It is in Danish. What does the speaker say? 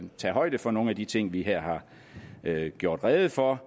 tage højde for nogle af de ting vi her har gjort rede for